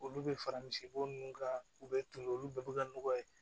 Olu bɛ fara misibo ninnu kan u bɛ tunun olu bɛɛ bɛ ka nɔgɔ ye